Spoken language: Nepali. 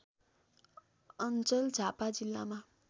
अञ्चल झापा जिल्लामा